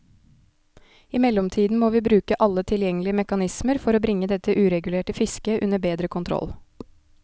I mellomtiden må vi bruke alle tilgjengelige mekanismer for bringe dette uregulerte fisket under bedre kontroll.